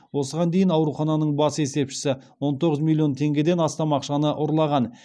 осыған дейін аурухананың бас есепшісі он тоғыз миллион теңгеден астам ақшаны ұрлаған